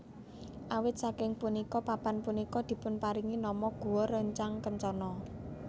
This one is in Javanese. Awit saking punika papan punika dipunparingi nama Gua Rancang Kencono